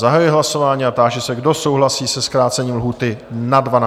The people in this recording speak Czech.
Zahajuji hlasování a táži se, kdo souhlasí se zkrácením lhůty na 12 dnů?